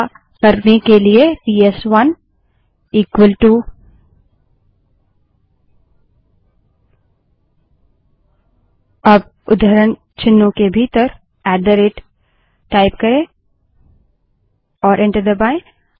ऐसा करने के लिए पीएसवनबड़े अक्षर में इक्वल -टू अब उद्धरण चिन्हों के भीतर ऐट द रेट टाइप करें और एंटर दबायें